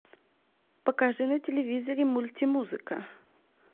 покажи на телевизоре мультимузыка